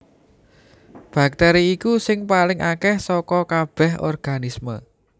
Baktèri iku sing paling akèh saka kabèh organisme